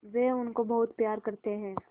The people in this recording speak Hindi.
वे उनको बहुत प्यार करते हैं